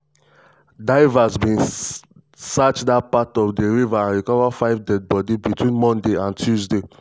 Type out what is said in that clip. divers bin search dat part of di river and recover five deadbody between monday and tuesday.